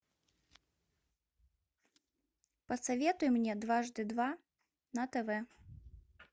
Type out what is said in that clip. посоветуй мне дважды два на тв